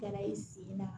Na i sen na